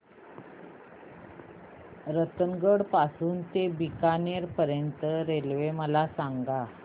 रतनगड पासून ते बीकानेर पर्यंत च्या रेल्वे मला सांगा